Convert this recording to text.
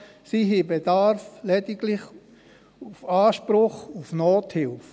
Sie haben lediglich Anspruch auf Nothilfe.